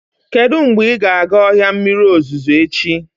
Kedu mgbe ị ga-aga ọhịa mmiri ozuzo echi?